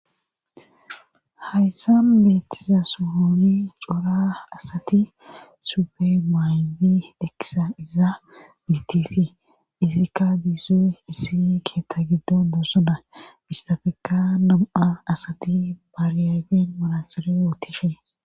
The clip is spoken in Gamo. Hayssan meettiza suhuni cora asati sube maaydi dekkisa iza mitisi izikka diisoy issi keetta giddo doossada istafeka nam7a asati baryaben malasere wootishe.